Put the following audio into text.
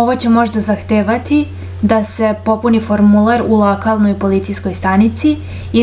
ovo će možda zahtevati da se popuni formular u lokalnoj policijskoj stanici